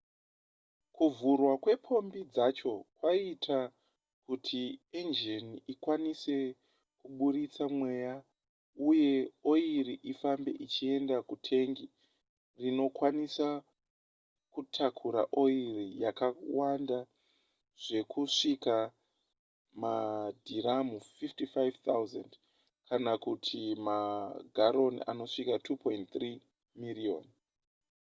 kuvhurwa kwepombi dzacho kwaiita kuti enjini ikwanise kuburitsa mweya uye oiri ifambe ichienda kutengi rinokwanisa kutakura oiri yakawanda zvekusvika madhiramu 55 000 kana kuti magaroni anosvika 2.3 miriyoni